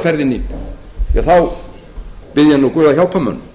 verra er á ferðinni þá bið ég guð að hjálpa mönnum